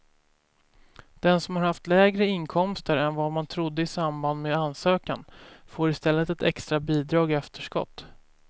Den som har haft lägre inkomster än vad man trodde i samband med ansökan får i stället ett extra bidrag i efterskott.